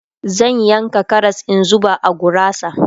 zan yanka Karas in zuba a gurasa